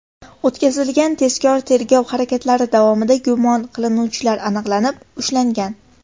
O‘tkazilgan tezkor tergov harakatlari davomida gumon qilinuvchilar aniqlanib, ushlangan.